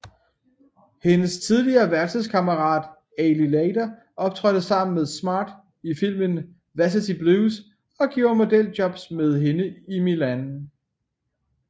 Hendes tidligere værelseskammerat Ali Larter optrådte sammen med Smart i filmen Varsity Blues og gjorde modeljobs med hende i Milan